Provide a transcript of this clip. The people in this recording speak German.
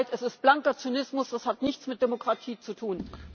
Es tut mir leid, es ist blanker Zynismus, das hat nichts mit Demokratie zu tun.